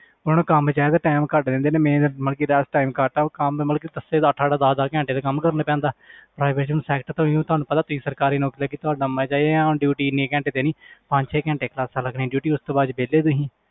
ਉਹਨਾਂ ਨੂੰ ਕੰਮ ਚਾਹੀਦਾ time ਘੱਟ ਦਿੰਦੇ ਨੇ ਮਿਹਨਤ ਮਤਲਬ ਕਿ rest time ਘੱਟ ਆ ਉਹ ਕੰਮ ਮਤਲਬ ਕਿ ਅੱਠ ਅੱਠ ਦਸ ਦਸ ਘੰਟੇ ਤਾਂ ਕੰਮ ਕਰਨਾ ਪੈਂਦਾ private ਤੁਹਾਨੂੰ ਪਤਾ ਤੁਸੀਂ ਸਰਕਾਰੀ ਨੌਕਰੀ ਤੇ ਕਿ ਤੁਹਾਡਾ ਮਜ਼ਾ ਹੀ ਆ ਹੁਣ duty ਇੰਨੀ ਘੈਂਟ ਹੈ ਤੇਰੀ ਪੰਜ ਛੇ ਘੰਟੇ classes ਲੱਗਣੀਆਂ duty ਉਸ ਤੋਂ ਬਾਅਦ 'ਚ ਵਿਹਲੇ ਤੁਸੀਂ